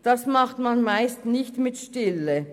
Das tut man meist nicht mit Stille.